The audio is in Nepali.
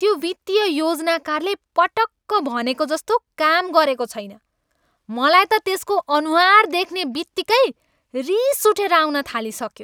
त्यो वित्तीय योजनाकारले पटक्क भनेजस्तो काम गरेका छैन। मलाई त त्यसको अनुहार देख्ने बित्तिकै रिस उठेर आउन थालिसक्यो।